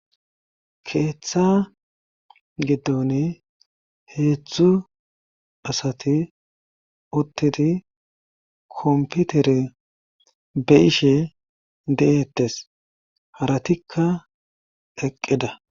keeththa giddon heedzdzu asati uttidi komputere be ishe de7eettes haratikka keqqida